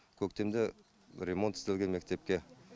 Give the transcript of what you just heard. көктемде ремонт істелген мектепке